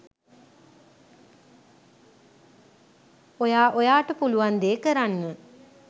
ඔයා ඔයාට පුළුවන් දේ කරන්න